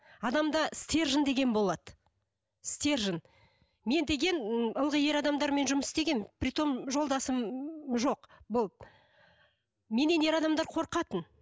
адамда стержен деген болады стержен мен деген ы ылғи ер адамдармен жұмыс істегенмін при том жолдасым жоқ болды меннен ер адамдар қорқатын